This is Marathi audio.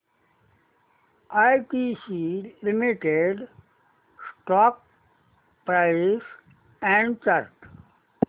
ITC limited stock price and chart